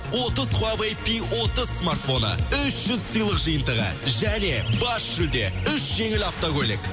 отыз хуавэй пи отыз смартфоны үш жүз сыйлық жиынтығы және бас жүлде үш жеңіл автокөлік